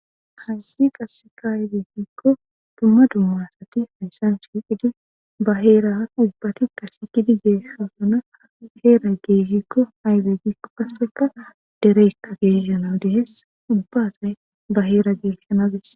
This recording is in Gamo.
hayssi qasseka haydeehikko dumma dumma assati hayssan shiiqidi ba heeraa ubbati qa shiqidi geeshhasana heera geeshikko hayze gikko kasseka dereyka geesshanau deheessa ubba asay ba heera geeshshanades